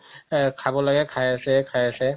অহ খাব লাগে খাই আছে খাই আছে